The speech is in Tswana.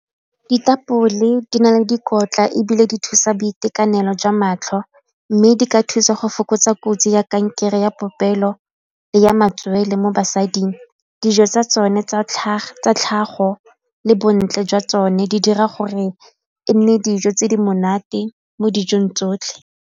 Ditapole di na le dikotla ebile di thusa boitekanelo jwa matlho mme di ka thusa go fokotsa kotsi ya kankere ya popelo le ya matswele mo basading, dijo tsa tsone tsa tlhago le bontle jwa tsone di dira gore e nne dijo tse di monate mo dijong tsotlhe.